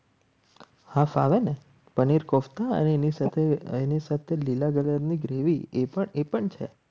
Half આવે ને પનીર કોફતા અને એની સાથે એની સાથે લીલા કલરની ગ્રેવી એ પણ એ પણ છે.